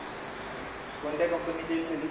कोणत्या company LCD?